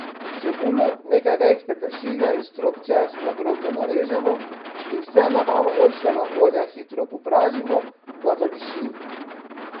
Čebulo, nekaj vejic peteršilja in strok česna drobno narežemo in vse na malo oljčnega olja hitro popražimo, da zadiši.